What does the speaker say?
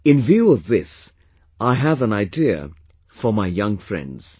In view of this, I have an idea for my young friends